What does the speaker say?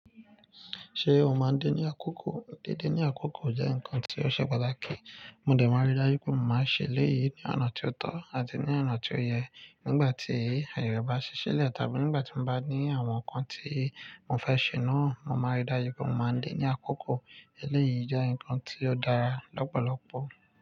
Ṣé o máa ń dé ní àkókò? Dídé ní àkókò jẹ́ nǹkan tí ó ṣe pàtàkì. Mo dẹ̀ máa rí dájú pé mo máa ń ṣe eléyìí ní ọ̀nà tí ó tọ́ àti ní ọ̀nà tí ó yẹ. Nígbà tí ayẹ bá ṣí sílẹ̀ tàbí nígbà tí mo bá ní àwọn nǹkan tí mo fẹ́ ṣe náà, mo máa rí dájú pé mo máa ń dé ní àkókò. Eléyìí jẹ́ nǹkan tí ó dára lọ́pọ̀lọpọ̀.